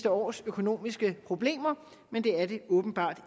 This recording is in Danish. års økonomiske problemer men det er det åbenbart